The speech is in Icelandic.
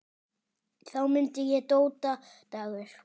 Þá mundi ég: Dóta Dagur.